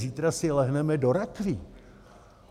Zítra si lehneme do rakví.